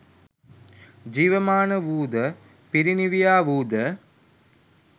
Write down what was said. ජීවමාන වූද පිරිනිවියා වූ ද